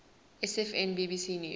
sfn bbc news